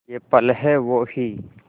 ये पल हैं वो ही